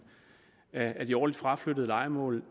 af de årligt fraflyttede lejemål